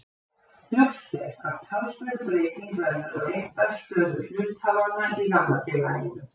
Ljóst er að talsverð breyting verður á réttarstöðu hluthafanna í gamla félaginu.